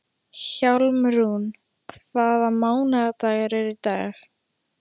Hjálmrún, hvaða mánaðardagur er í dag?